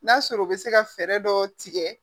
N'a sɔrɔ u bɛ se ka fɛɛrɛ dɔ tigɛ